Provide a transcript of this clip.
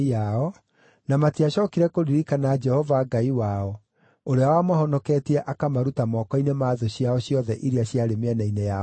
na matiacookire kũririkana Jehova Ngai wao, ũrĩa wamahonoketie akamaruta moko-inĩ ma thũ ciao ciothe iria ciarĩ mĩena-inĩ yao yothe.